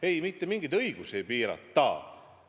Ei, mitte mingeid õigusi ei piirata.